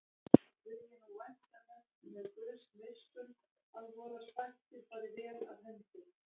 Vil ég nú vænta þess með Guðs miskunn að vorar sættir fari vel af hendi.